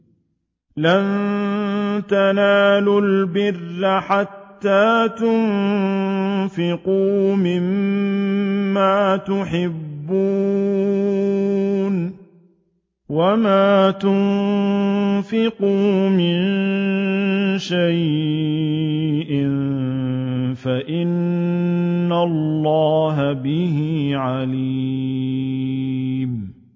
لَن تَنَالُوا الْبِرَّ حَتَّىٰ تُنفِقُوا مِمَّا تُحِبُّونَ ۚ وَمَا تُنفِقُوا مِن شَيْءٍ فَإِنَّ اللَّهَ بِهِ عَلِيمٌ